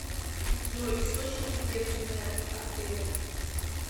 джой источники бедренная артерия